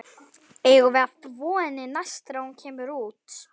Eigum við að þvo henni næst þegar hún kemur út?